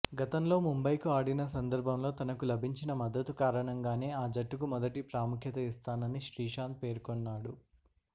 గతంలో ముంబైకు ఆడిన సందర్భంలో తనకు లభించిన మద్దతు కారణంగానే ఆ జట్టుకు మొదటి ప్రాముఖ్యత ఇస్తానని శ్రీశాంత్ పేర్కొన్నాడు